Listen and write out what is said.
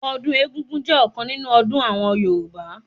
Ọdún egúngún jẹ́ ọ̀kan nínú ọdún àwọn Yorùbá